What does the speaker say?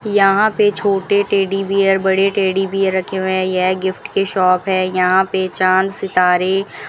यहां पर छोटे टेडी बेयर बड़े टेडी बियर रखे हुए हैं यह गिफ्ट के शॉप है यहां पे चांद सितारे --